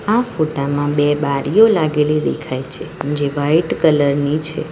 આ ફોટામાં બે બારીઓ લાગેલી દેખાય છે જે વાઈટ કલર ની છે.